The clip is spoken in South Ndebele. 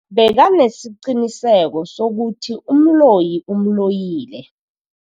Bekanesiqiniseko sokuthi umloyi umloyile.